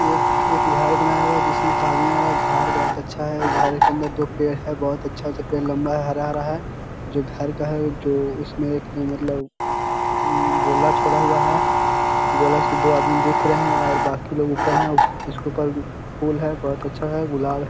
एक एक घर बनाया हुआ है जिसमे एक आदमी घार बोहोत अच्छा है और घर के अंदर दो पेड़ हैं बहोत अच्छा अच्छा पेड़ लम्बा है हरा-हरा है जो घर का है जो उसमे एक मतलब उम्म गोला छोड़ा हुआ है। गोला से दो आदमी देख रहे हैं और बाकी लोग ऊपर हैं उसके ऊपर फूल है बहोत अच्छा है गुलाब --